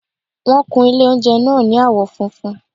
Wọ́n kun ilé oúnjẹ náà ní àwọ́ funfun